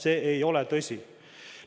See ei ole tõsi.